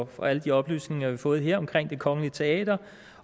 for alle de oplysninger vi har fået her om det kongelige teater